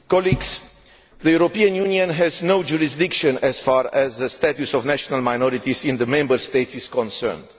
Mr President, the European Union has no jurisdiction as far as the status of national minorities in the Member States is concerned.